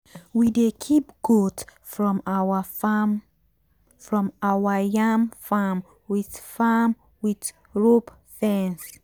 we dey keep goat from our from our farm from our yam farm with rope fence.